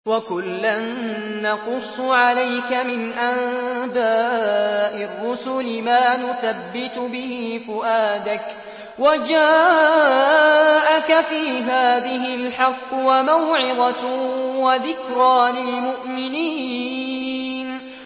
وَكُلًّا نَّقُصُّ عَلَيْكَ مِنْ أَنبَاءِ الرُّسُلِ مَا نُثَبِّتُ بِهِ فُؤَادَكَ ۚ وَجَاءَكَ فِي هَٰذِهِ الْحَقُّ وَمَوْعِظَةٌ وَذِكْرَىٰ لِلْمُؤْمِنِينَ